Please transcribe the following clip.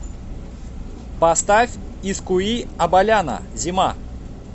поставь искуи абаляна зима